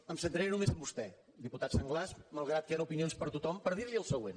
em centraré només en vostè diputat sanglas malgrat que hi han opinions per a tothom per dir li el següent